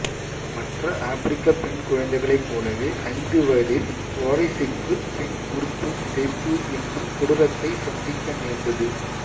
மற்ற ஆப்பிரிக்கப் பெண் குழந்தைகளைப் போலவே ஐந்து வயதில் வாரிஸுக்கு பெண் உறுப்பு சிதைப்பு என்னும் கொடூரத்தைச் சந்திக்க நேர்ந்தது